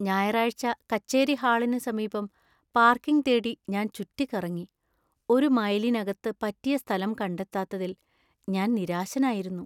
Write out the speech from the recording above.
ഞായറാഴ്ച കച്ചേരി ഹാളിന് സമീപം പാർക്കിംഗ് തേടി ഞാൻ ചുറ്റിക്കറങ്ങി, ഒരു മൈലിനകത്ത് പറ്റിയ സ്ഥലം കണ്ടെത്താത്തതിൽ ഞാൻ നിരാശനായിരുന്നു.